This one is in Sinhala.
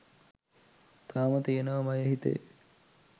තාම තියෙනව මයෙ හිතේ